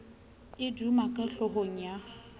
e duma ka hlohong ya